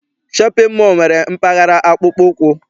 Shọpịn mọọ nwere mpaghara akpụkpọ ụkwụ.